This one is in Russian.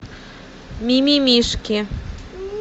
мимимишки